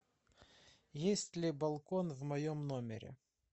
есть ли балкон в моем номере